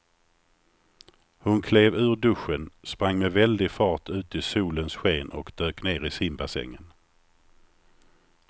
Hon klev ur duschen, sprang med väldig fart ut i solens sken och dök ner i simbassängen.